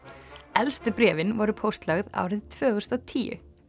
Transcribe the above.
elstu bréfin voru póstlögð árið tvö þúsund og tíu